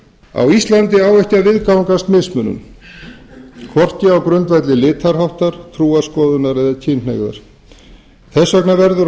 á íslandi á ekki að viðgangast mismunun hvorki á grundvelli litarháttar trúarskoðana né kynhneigðar þess vegna verður á